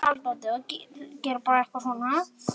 Það er líka bara fyndið.